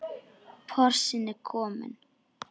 Porsinn er kominn.